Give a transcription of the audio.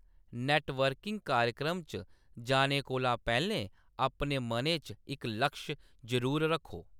Networking कार्यक्रम च जाने कोला पैह्‌‌‌लें अपने मनै च इक लक्ष जरूर रक्खो।